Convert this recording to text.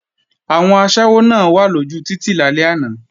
Àwọn aṣẹ́wó náà wà lójú títì lálẹ́ àná